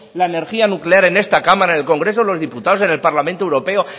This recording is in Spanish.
la energía nuclear en esta cámara en el congreso de los diputados en el parlamento europeo